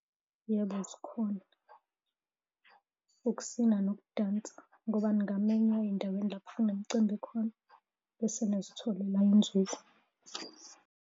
Yebo, zikhona, ukusina nokudansa ngoba ningamenywa ey'ndaweni kunemcimbi khona, bese nizitholela inzuzo.